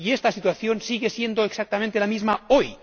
Y esta situación sigue siendo exactamente la misma hoy.